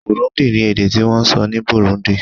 Kirundi ni èdè ti wón sọ ni Burundi